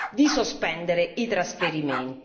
di sospendere i trasferimenti.